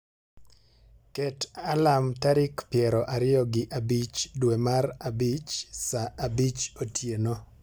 Ket alarm tarik piero ariyo gi abich dwe mar abich saa abich otieno